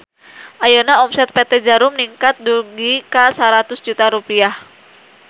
Ayeuna omset PT Djarum ningkat dugi ka 100 juta rupiah